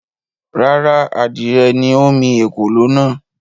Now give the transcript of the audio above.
Rárá, adìrẹ ni ó mi “ ekòló” náà.